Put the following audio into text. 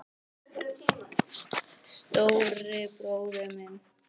Stóri bróðir minn.